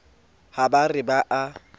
ha ba re ba a